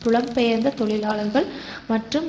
புலம் பெயர்ந்த தொழிலாளர்கள் மற்றும்